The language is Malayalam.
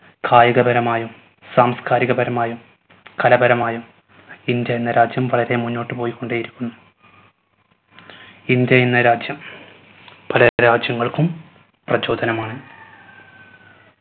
കായികപരമായും സാംസ്കാരികപരമായും കലപരമായും ഇന്ത്യ എന്ന രാജ്യം വളരെ മുന്നോട്ട് പോയിക്കൊണ്ടേ ഇരിക്കുന്നു. ഇന്ത്യ എന്ന രാജ്യം പല രാജ്യങ്ങൾക്കും പ്രചോദനമാണ്